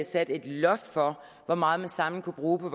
sat et loft for hvor meget man samlet kunne bruge på